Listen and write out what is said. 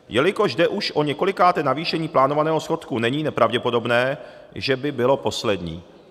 Jelikož jde už o několikáté navýšení plánovaného schodku, není nepravděpodobné, že by bylo poslední.